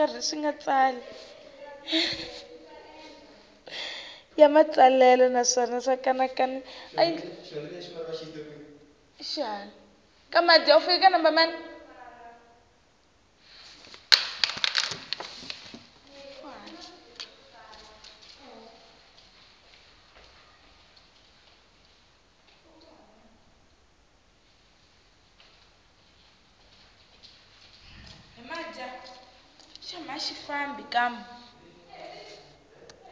ya matsalelo naswona xa kanakanisa